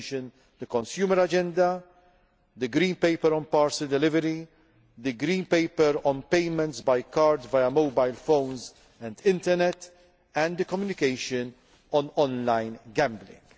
I would mention the consumer agenda, the green paper on parcel delivery, the green paper on payments by card, via mobile phones and the internet, and the communication on on line gambling.